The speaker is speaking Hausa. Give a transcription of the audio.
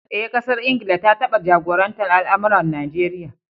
Eh, ƙasar Ingila ta taba jagorantar al’amuran Najeriya.